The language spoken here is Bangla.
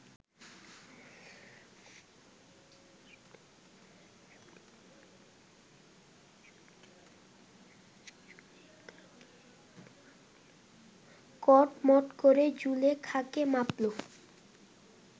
কটমট করে জুলেখাকে মাপল